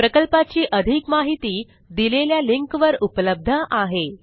प्रकल्पाची अधिक माहिती दिलेल्या लिंकवर उपलब्ध आहे